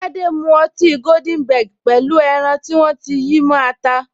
Tade mu ọtí goldenberg pẹ̀lú pẹlu ẹran tí wọ́n ti yí mó ata